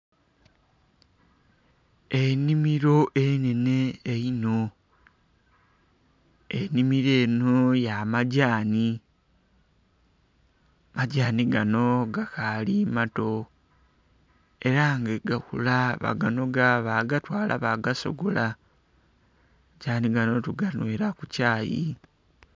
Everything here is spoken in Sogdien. Enhimilo enenhe einho, enhimilo eno yamadhaani, madhaani gano gakaali mato ara nga bwegakula baganoga bagatwara bagasogora saawa dhino tuganuwira ku kyayi.